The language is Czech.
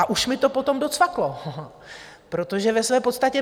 A už mi to potom docvaklo, protože ve své podstatě